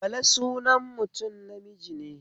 Bala sunan mutum namiji ne